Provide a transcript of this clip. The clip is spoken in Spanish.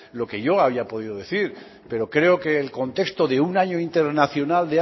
lo que yo haya podido decir pero creo que el contexto de un año internacional